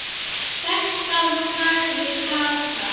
Sextán sagði Kata.